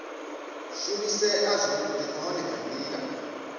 shumisea zwavhudi nahone nga ndila